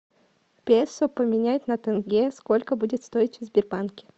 песо поменять на тенге сколько будет стоить в сбербанке